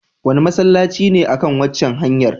Wane masallaci ne a kan waccan hanyar?